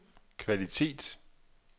kvalitet